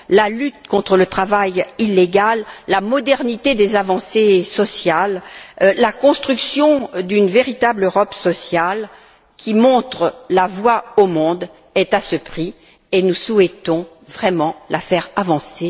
La lutte contre le travail illégal, la modernité des avancées sociales, la construction d'une véritable Europe sociale, qui montre la voie au monde, est à ce prix, et nous souhaitons vraiment la faire avancer.